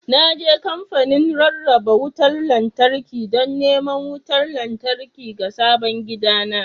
Na je kamfanin rarraba wutar lantarki don neman wutar lantarki ga sabon gidana